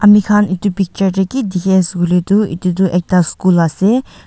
mekhan etu picture tey ki dekhe ase koile tu etutu ekta school ase.